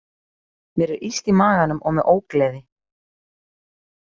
Mér er illt í maganum og með ógleði.